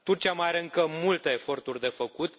Turcia mai are încă multe eforturi de făcut.